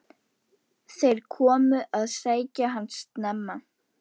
Þeir komu að sækja hann snemma.